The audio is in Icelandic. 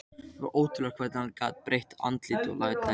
Það var ótrúlegt hvernig hann gat breytt andliti og látæði.